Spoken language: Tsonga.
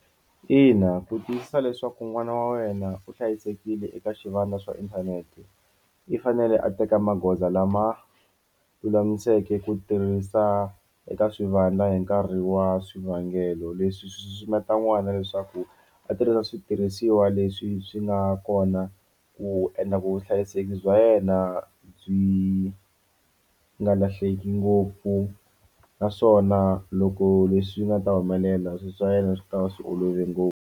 Ina ku tiyisisa leswaku n'wana wa wena u hlayisekile eka swivandla swa inthanete i fanele a teka magoza lama lulamiseke ku tirhisa eka swivandla hi nkarhi wa swivangelo leswi swi susumeta n'wana leswaku a tirhisa u switirhisiwa leswi swi nga kona ku endla vuhlayiseki bya yena byi nga lahleki ngopfu naswona loko leswi nga ta humelela swilo swa yena swi ta va swi olove ngopfu.